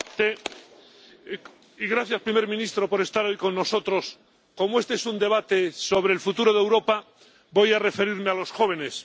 Señor presidente, gracias, primer ministro, por estar hoy con nosotros. Como este es un debate sobre el futuro de Europa, voy a referirme a los jóvenes.